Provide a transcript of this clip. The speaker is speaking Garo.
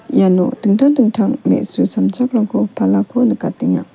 iano dingtang dingtang me·su samjakrangko palako nikatenga.